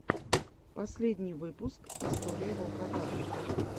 последний выпуск история волкодава